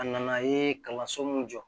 A nana ye kalanso min jɔ